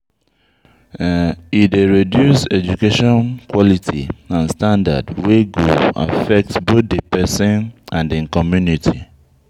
E dey reduce education quality and standard wey go effect both de pesin and im community.